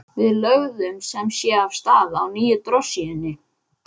Við lögðum sem sé af stað á nýju drossíunni.